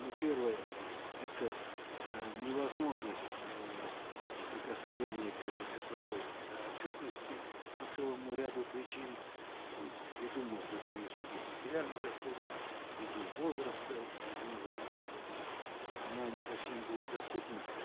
ну первое это э невозможность э прикосновения к этой цифровой э отчетности по целому ряду причин м ввиду может быть невысоких материальных доходов ввиду возраста и многое другое поэтому она не совсем будет доступна